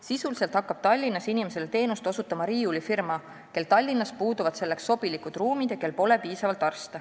Sisuliselt hakkab Tallinnas inimestele teenust osutama riiulifirma, kel Tallinnas puuduvad selleks sobilikud ruumid ja kel pole piisavalt arste.